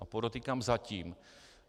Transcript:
A podotýkám zatím.